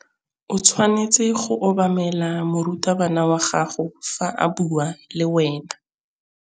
O tshwanetse go obamela morutabana wa gago fa a bua le wena.